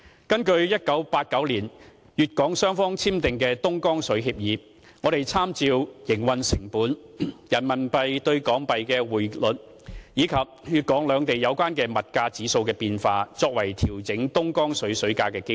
根據1989年粵港雙方簽訂的東江水協議，我們參照營運成本、人民幣兌港幣的匯率，以及粵港兩地有關的物價指數的變化，作為調整東江水價的基礎。